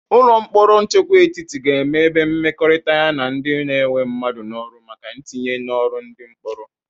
Ụlọ mkpọrọ nchekwa etiti ga-emebe mmekọrịta ya na ndị na-ewe mmadụ n'ọrụ maka ntinye n'ọrụ ndị mkpọrọ.